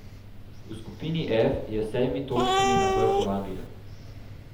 V skupini F je s sedmimi točkami na vrhu Anglija.